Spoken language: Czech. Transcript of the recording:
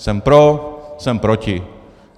Jsem pro, jsem proti.